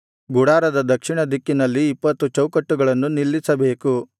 ಗುಡಾರದ ದಕ್ಷಿಣದಿಕ್ಕಿನಲ್ಲಿ ಇಪ್ಪತ್ತು ಚೌಕಟ್ಟುಗಳನ್ನು ನಿಲ್ಲಿಸಬೇಕು